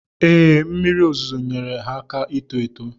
Ee, mmiri ozuzo nyeere ha aka ito eto.